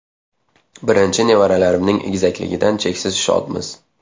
Birinchi nevaralarimning egizakligidan cheksiz shodmiz.